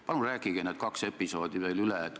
Palun rääkige need kaks episoodi veel kord lahti!